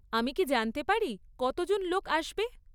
আমি কি জানতে পারি কতজন লোক আসবে?